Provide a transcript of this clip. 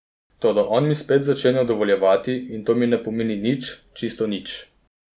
Toda on mi spet začenja dovoljevati in to mi ne pomeni nič, čisto nič.